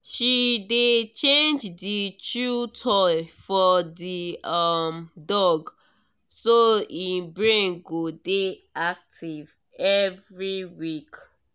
she dey change the chew toy for the um dog so e brain go dey active every week.